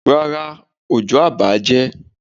Rárá, òjò a bààjẹ́.